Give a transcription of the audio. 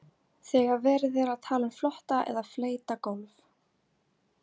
þegar verið er að tala um flota eða fleyta gólf